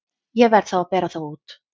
Ég verð þá að bera þá út.